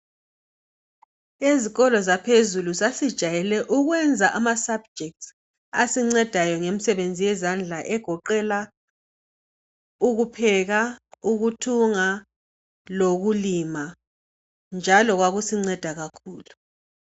Ezikolo zaphezulu sasijayele ukwenza ama'Subjects' asincedayo ngemisebenzi ezandla egoqela ukupheka, ukuthunga lokulima njalo kwakusinceda kakhulu.